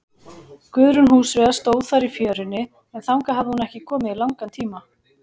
Guðrún húsfreyja stóð þar í fjörunni, en þangað hafði hún ekki komið í langan tíma.